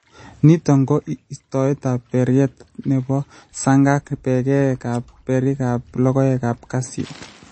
Niito ko istoetap bertet ne po saang' ak peekap berikap logoekap kasyu.